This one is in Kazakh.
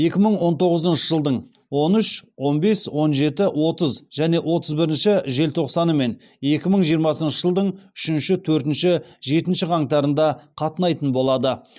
екі мың он тоғызыншы жылдың он үш он бес он жеті отыз және отыз бірінші желтоқсаны мен екі мың жиырмасыншы жылдың үшінші төртінші жетінші қаңтарында қатынайтын болады